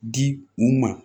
Di u ma